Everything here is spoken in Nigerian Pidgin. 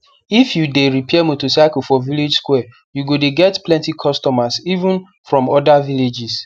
if you the repair motorcycle for village square u go de get plenty customers even from other villages